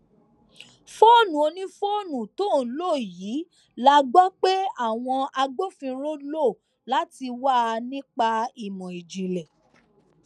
fóònù onífọònù tó ń lò yìí la gbọ pé àwọn agbófinró lò láti wá a nípa ìmọ ìjìnlẹ